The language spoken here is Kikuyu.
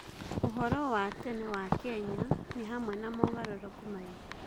Ũhoro wa tene wa Kenya nĩ hamwe na mogarũrũku maingĩ.